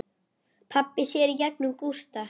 Pabbi sér í gegnum Gústa.